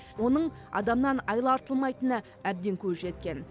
оның адамнан айла артылмайтынына әбден көзі жеткен